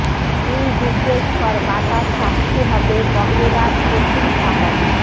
তুই জিজ্ঞেস কর বাতাস সাক্ষী হবে বকে রাধ কঠিন সাহস